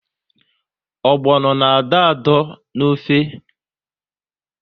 Ogbono na adọ adọ n'ofe